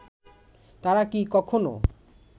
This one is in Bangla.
তারা কি কখনো